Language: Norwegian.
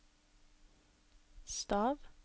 stav